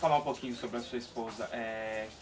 Vamos falar um pouquinho sobre a sua esposa. É...